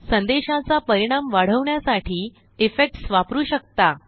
संदेशाचापरिणाम वाढवण्यासाठी इफेक्ट्स वापरू शकता